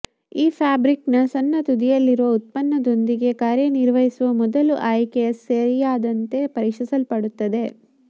ಈ ಫ್ಯಾಬ್ರಿಕ್ನ ಸಣ್ಣ ತುದಿಯಲ್ಲಿರುವ ಉತ್ಪನ್ನದೊಂದಿಗೆ ಕಾರ್ಯನಿರ್ವಹಿಸುವ ಮೊದಲು ಆಯ್ಕೆಯ ಸರಿಯಾದತೆ ಪರೀಕ್ಷಿಸಲ್ಪಡುತ್ತದೆ